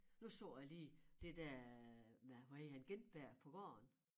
Nu så jeg lige det der øh med hvad hedder han Gintberg på gården